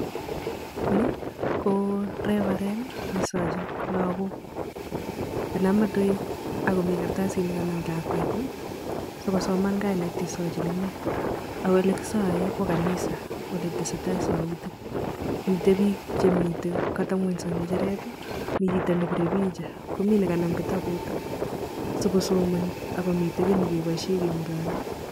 Ni ko reverend ne saagin lagook. Kanam metoek akomii kartasit nekanam lakwet si kosoman kainet yesajin inee. Ako olekisaaee ko kanisa oletesetai sautik. Mitei biik che katabung'onyso eng ng'ejeret. Mi chito nebirei picha komii nekanam kitabut so kosomani ako mitei kiy negeboishe keng'ololi.